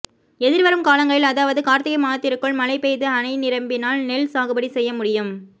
எதிர்வரும் காலங்களில் அதாவது கார்த்திகை மாதத்திற்குள் மழை பெய்து அணை நிரம்பினால் நெல் சாகுபடி செய்ய முடியும்